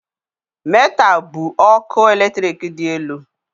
Metal bụ ọkụ eletrik dị elu